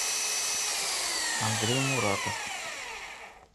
андрей муратов